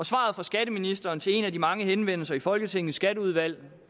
svaret fra skatteministeren til en af de mange henvendelser i folketingets skatteudvalg